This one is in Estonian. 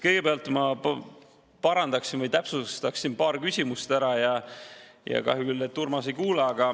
Kõigepealt ma parandaksin‑täpsustaksin paar küsimust ära ja kahju küll, et Urmas ei kuule.